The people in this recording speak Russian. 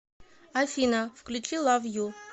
афина включи лав ю